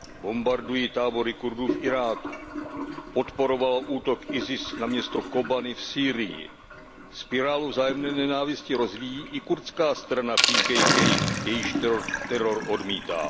Bombarduje tábory Kurdů v Iráku, podporovalo útok IS na město Kobani v Sýrii. Spirálu vzájemné nenávisti rozvíjí i kurdská strana PKK, jejíž teror odmítám.